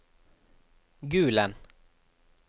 Gulen